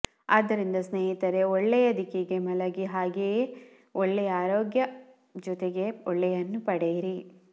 ಆದ್ದರಿಂದ ಸ್ನೇಹಿತರೆ ಒಳ್ಳೆಯ ದಿಕ್ಕಿಗೆ ಮಲಗಿ ಹಾಗೇನೇ ಒಳ್ಳೆಯ ಆರೋಗ್ಯ ಜೊತೆಗೆ ಒಳ್ಳೆಯನ್ನು ಪಡೆಯಿರಿ